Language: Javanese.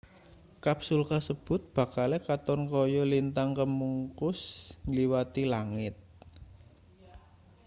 kapsul kasebut bakale katon kaya lintang kemukus ngliwati langit